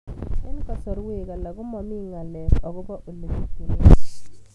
Eng' kasarwek alak ko mami ng'alek akopo ole pitunee